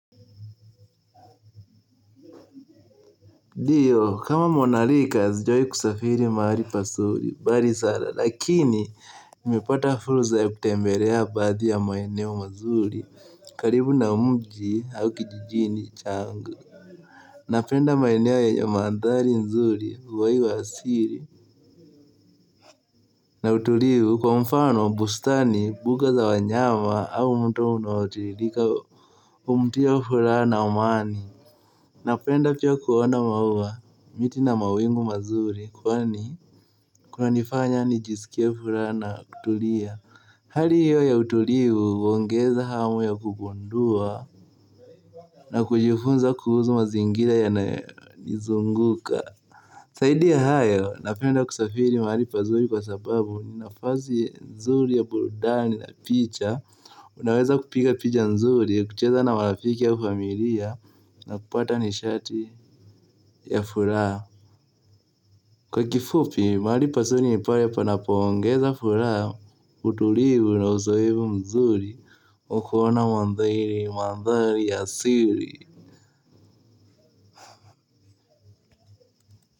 Ndio kama mwanarika sijawahi kusafiri mahali pazuri mbali sana lakini nimeipata fursa ya kutembelea baadhi ya maeneo mazuri karibu na mji au kijijini changu. Napenda maeneo yenye maandhari nzuri uhai wa asili. Na utulivu kwa mfano bustani mbuga za wanyama au mto unaotiririkai humtia furaha na amani. Napenda pia kuona maua miti na mawingu mazuri kwani kunanifanya nijisikie furaha na kutulia. Hali hiyo ya utulivu huongeza hamu ya kugundua na kujifunza kuhusu mazingira ya nayonizunguka zaidi ya hayo napenda kusafiri mahali pazuri kwa sababu ni nafasi nzuri ya burudani na picha. Unaweza kupiga picha nzuri, ya kucheza na marafiki au familia. Na kupata nishati ya furaha. Kwa kifupi, mahali pazuri ni pale panapo ongeza furaha. Utulivu na uzoefu mzuri wa kuona maandhari, maandhari ya asili.